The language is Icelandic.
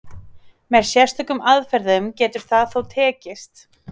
Með sérstökum aðferðum getur það þó tekist.